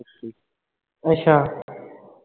ਅੱਛਾ